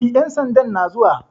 E, ƴan sandan na zuwa.